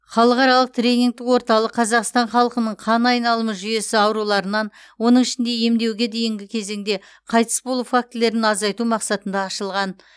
халықаралық тренингтік орталық қазақстан халқының қан айналымы жүйесі ауруларынан оның ішінде емдеуге дейінгі кезеңде қайтыс болу фактілерін азайту мақсатында ашылған